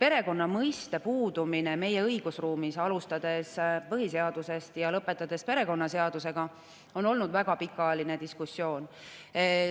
Perekonna mõiste puudumise üle meie õigusruumis, alustades põhiseadusest ja lõpetades perekonnaseadusega, on olnud väga pikaajaline diskussioon.